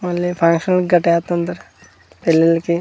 Only function పెళ్ళిళ్ళకి.